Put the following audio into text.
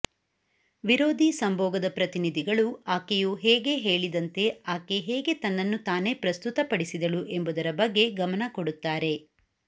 ವಿರೋಧಿ ಸಂಭೋಗದ ಪ್ರತಿನಿಧಿಗಳು ಆಕೆಯು ಹೇಗೆ ಹೇಳಿದಂತೆ ಆಕೆ ಹೇಗೆ ತನ್ನನ್ನು ತಾನೇ ಪ್ರಸ್ತುತಪಡಿಸಿದಳು ಎಂಬುದರ ಬಗ್ಗೆ ಗಮನ ಕೊಡುತ್ತಾರೆ